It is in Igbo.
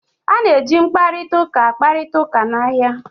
A na-eji mkparịta ụka kparịta ụka n'ahịa